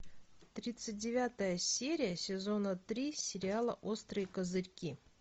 тридцать девятая серия сезона три сериала острые козырьки